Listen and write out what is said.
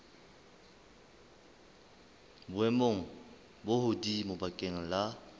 boemong bo hodimo bakeng la